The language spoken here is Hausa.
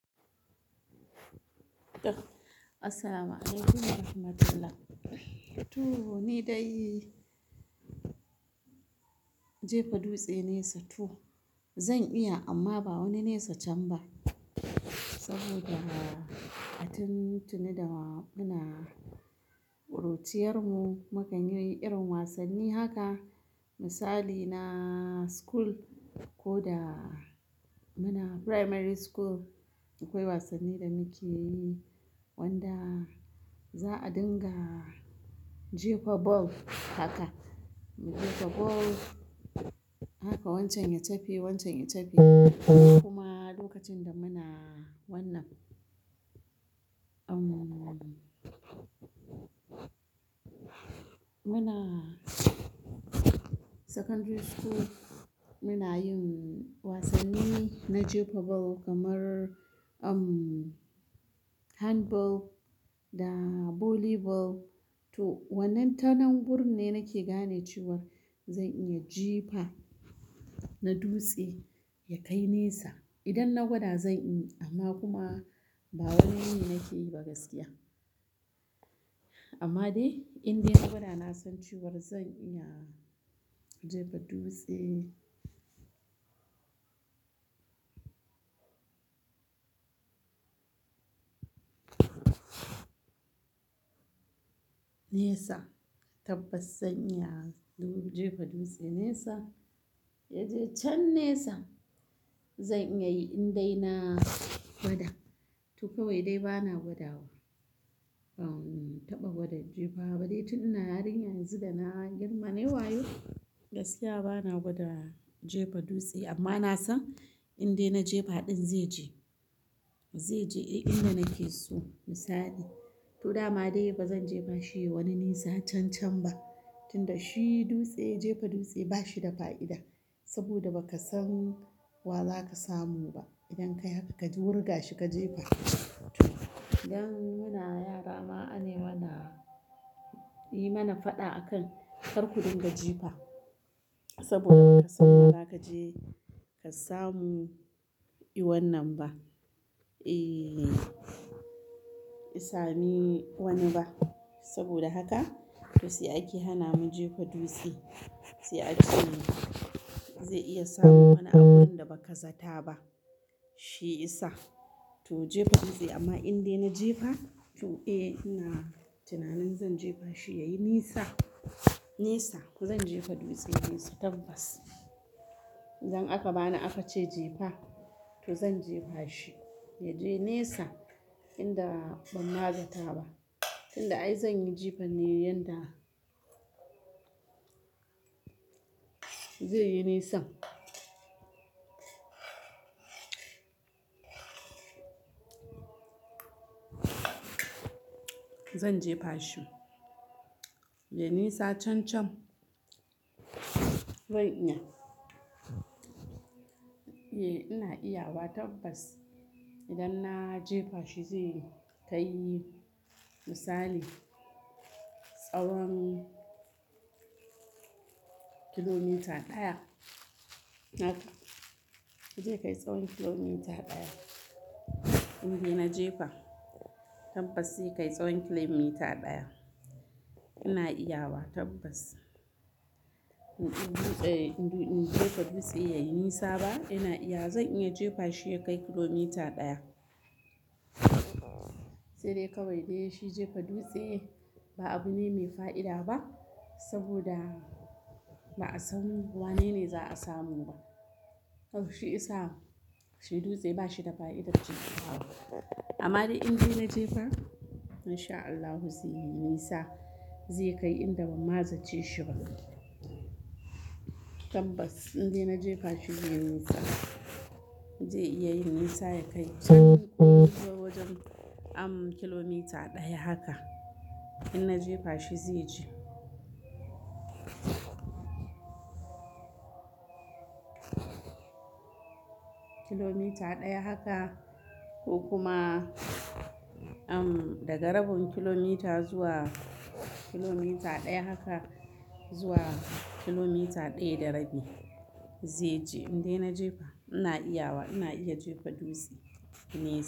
Asalamaleikum, warahamatulah. To ni dai jefa dutse nesa to zan iya amma ba wani nesa can ba saboda a tun tuni da muna ƙuruciyarmu, mukan yi irin wasanni haka. Misali na school ko da muna primary school akwai wasanni da muke yi wanda za a dinga jefa ball haka. Mu dinga ball haka wancan ya chabe, wancan ya chabe kuma lokacin da muna wannan, umm, muna secondary school muna yin wasanni na jefa ball kamar umm, handball da volleyball. To wannan tanan wuri ne nake gane cewa zan iya jipa na dutse ya kai nesa. Idan na gwada zan yi amma kuma ba wai yi nake yi ba gaskiya. Amma dai in dai na gwada na san cewar zan iya jefa dutse. Nesa tabbas zan iya jefa dutse nesa, ya je can nesa. Zan iya yi in dai na gwada to kawai dai bana gwada wa. Umm, ban taɓa gwada jefa ba dai tun ina yarinya yanzu da na girma na yi wayo gaskiya bana gwada jefa dutse amma na san in dai na jefa ɗin zai je. Zai je inda nake so misali. To dama dai ba zan jefa shi wani nesa can can ba tunda shi dutse, jefa dutse ba shi da fa'ida saboda ba ka san wa zaka samu ba idan ka haka ka wurga shi ka jefa. To idan muna yara ma anai mana, yi mana faɗa akan kar ku dinga jefa saboda ba ka san wa zaka je ka samu e wannan ba. Eh, isa mi wani ba saboda haka toh sai ake hana mu jefa dutse. Sai a ce zai iya samu wani abun da ba ka zata ba, shi isa. To jefa dutse amma in dai na jefa to eh ina tunanin zan jefa shi ya yi nesa, nesa ko zan jefa dutse nesa tabbas. Idan aka bani aka ce jefa to zan jefa shi ya je nesa inda ban ma zata ba tunda ai zan yi jefa ne yanda zai yi nesa. Zan jefa shi ya yi nisa can can. Zan iya. Ina iya wa tabbas idan na jefa shi zai yi kai. Misali, tsawon kilomita ɗaya haka. Zai kai tsawon kilomita ɗaya in dai na jefa. Tabbas zai kai tsawon kilomita ɗaya. Ina iya wa tabbas. In dutse, in jefa dutse ya yi nesa ba ina iya zan iya jefa shi ya kai kilomita ɗaya. Sai dai kawai dai shi jefa dutse ba abu ne mai fa'ida ba saboda ba a san wanene za a samu ba. Shi yasa shi dutse ba shi da fa'ida jefa wa. Amma dai in dai na jefa in sha Allahu zai yi nesa zai kai inda ban ma zace shiba. Tabbas in dai na jefa shi zai yi nesa. Zai iya yin nisa ya kai zuwa wajen umm, kilomita ɗaya haka in na jefa shi zai je. Kilomita ɗaya haka ko kuma umm, daga rabin kilomita zuwa kilomita ɗaya haka zuwa kilomita ɗaya da rabi zai je in dai na jefa. Ina iya wa ina iya jefa dutse nesa.